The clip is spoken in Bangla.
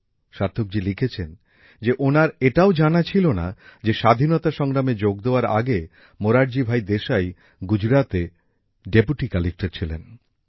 সার্থকজী লিখেছেন যে ওনার এটাও জানা ছিল না যে স্বাধীনতা সংগ্রামে যোগ দেওয়ার আগে মোরারজী ভাই দেশাই গুজরাতে ডেপুটি কালেক্টর ছিলেন